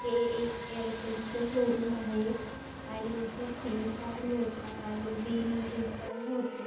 हे एक एयरटेलच शोरूम आहे आणि इथे सिम कार्ड मिळता आणि बिल रीचार्ज होते.